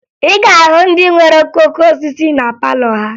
Ị ga-ahụ ndị nwere okooko osisi na palọ ha